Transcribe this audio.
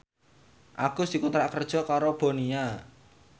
Agus dikontrak kerja karo Bonia